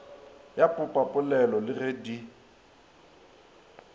ya popapolelo le ge di